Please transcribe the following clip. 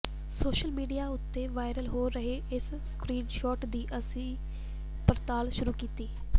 social media ਉੱਤੇ viral ਹੋ ਰਹੇ ਇਸ ਸਕਰੀਨ ਸ਼ੌਟ ਦੀ ਅਸੀਂ ਪੜਤਾਲ ਸ਼ੁਰੂ ਕੀਤੀ